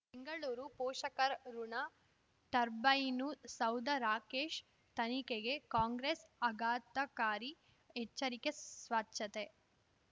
ಬೆಂಗಳೂರು ಪೋಷಕರಋಣ ಟರ್ಬೈನು ಸೌಧ ರಾಕೇಶ್ ತನಿಖೆಗೆ ಕಾಂಗ್ರೆಸ್ ಆಘಾತಕಾರಿ ಎಚ್ಚರಿಕೆ ಸ್ವಚ್ಛತೆ